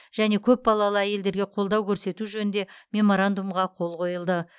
және көпбалалы әйелдерге қолдау көрсету жөнінде меморандумға қол қойылды